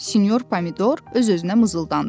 Sinyor Pomidor öz-özünə mızıldandı.